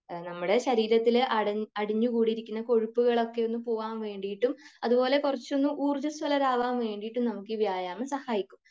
നമ്മുടെ ശരീരത്തിൽ അടിഞ്ഞു കൂടിയിരിക്കുന്ന കൊഴുപ്പുകളൊക്കെ ഒന്ന് പോകാൻ വേണ്ടീട്ടും അതുപോലെ കുറച്ചൊന്നു ഊർജസ്വലരാകാൻ വേണ്ടീട്ടും നമുക്ക് ഈ വ്യായാമം സഹായിക്കും.